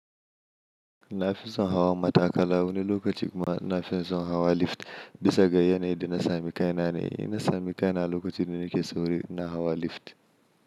Nafison hawa matakala wani lokaci kuma ina fin son hawa lift bisa ga yanayin da na sami kaina ne. Inna samu kaina a lokacin da nake sauri ina hawa lift.